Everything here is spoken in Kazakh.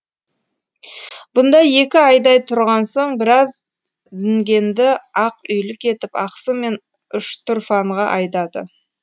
бұнда екі айдай тұрған соң біраз дүнгенді ақ үйлік етіп ақсу мен үштұрфанға айдады